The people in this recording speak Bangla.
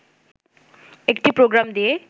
একটি প্রোগাম দিয়ে